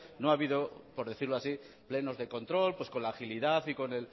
no ha habido por decirlo así plenos de control con la agilidad y con